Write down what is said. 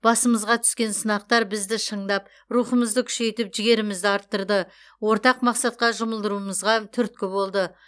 басымызға түскен сынақтар бізді шыңдап рухымызды күшейтіп жігерімізді арттырды ортақ мақсатқа жұмылдыруымызға түрткі болды